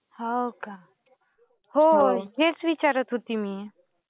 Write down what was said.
हो का? हो. हेच विचारत होती मी.